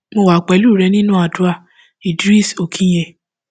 mo wà pẹlú rẹ nínú àdúrà idris okinye